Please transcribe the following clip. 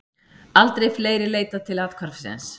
Aldrei fleiri leitað til athvarfsins